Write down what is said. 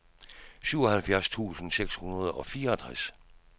syvoghalvfjerds tusind seks hundrede og fireogtres